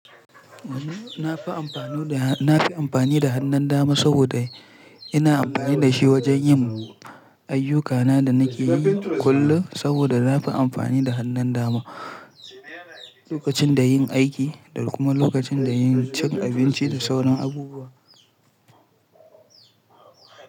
Na fi amfani da, na fi amfani da hannun dama saboda ina amfani da shi wajen yin ayyukana da nake yi kullum saboda na fi amfani da hannun dama lokacin da yin aiki da kuma lokacin da cin abinci da sauran abubuwa.